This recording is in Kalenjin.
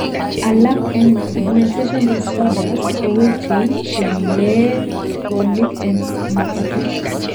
alak en pigmentation disorders kowechei chelegenoik en makatet